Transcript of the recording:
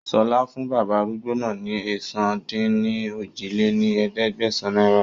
Sọlá fún bàbá arúgbó náà ni ẹ̀sán-dín-ní-ojì lé ní ẹ̀ẹ́dẹ́gbẹ́sán náírà